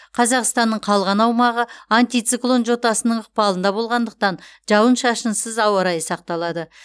қазақстананың калған аумағы антициклон жотасының ықпалында болғандықтан жауын шашынсыз ауа райы сақталады